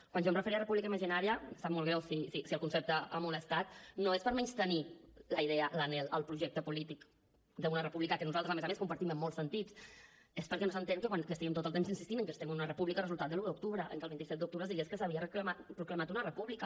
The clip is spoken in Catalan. quan jo em referia a república imaginària em sap molt greu si el concepte ha molestat no és per menystenir la idea l’anhel el projecte polític d’una república que nosaltres a més a més compartim en molts sentits és perquè no s’entén que estiguem tot el temps insistint en que estem en una república resultat de l’un d’octubre en que el vint set d’octubre es digués que s’havia proclamat una república